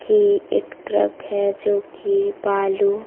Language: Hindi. ये एक ट्रक है जो कि बालू--